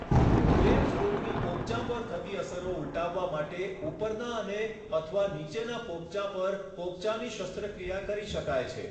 Graves રોગની પોપચાં પર થતી અસરો ઉલટાવવા માટે ઉપરના અને અથવા નીચેના પોપચાં પર પોપચાંની શસ્ત્રક્રિયા કરી શકાય છે.